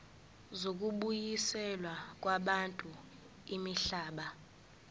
zokubuyiselwa kwabantu imihlaba